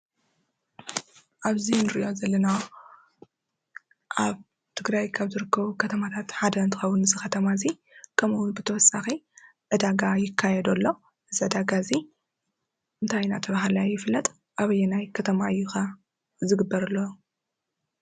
ኣብዚ ንሪኦ ዘለና ኣብ ትግራይ ካብ ዝርከቡ ከተማታት ሓደ እንትኸውን እዚ ከተማ እዚ ከምኡውን ብተወሳኺ ዕዳጋ ይካየደሎ፡፡ እዚ ዕዳጋ እዚ እንታይ እናተባህለ ኸ ይፍለጥ? ኣበየናይ ከተማ እዩ ኸ ዝግበርሎ ዘሎ?